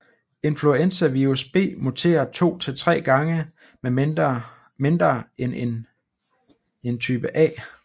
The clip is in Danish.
Influenzavirus B muterer 2 til 3 gange mindre end type A